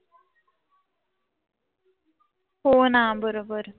होना बरोबर.